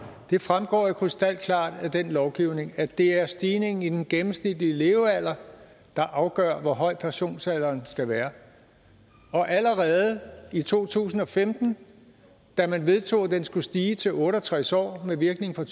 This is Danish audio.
det fremgår jo krystalklart af den lovgivning at det er stigningen i den gennemsnitlige levealder der afgør hvor høj pensionsalderen skal være og allerede i to tusind og femten da man vedtog at den skulle stige til otte og tres år med virkning fra